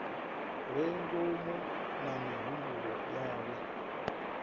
re ngomu na mihumbulo yawe